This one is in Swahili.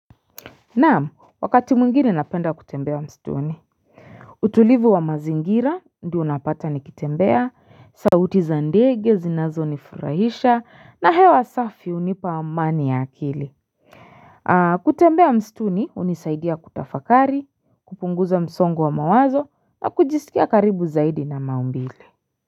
Naam wakati mwingine napenda kutembea mstuni utulivu wa mazingira ndio unapata nikitembea sauti za ndege zinazo nifurahisha na hewa safi unipa amani ya akili kutembea mstuni unisaidia kutafakari kupunguza msongo wa mawazo na kujisikia karibu zaidi na maumbile.